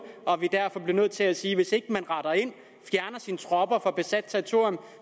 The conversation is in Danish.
og at vi derfor bliver nødt til at sige at hvis ikke man retter ind og fjerner sine tropper fra besat territorium